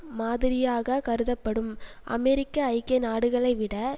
மாதிரியாக கருதப்படும் அமெரிக்க ஐக்கிய நாடுகளை விட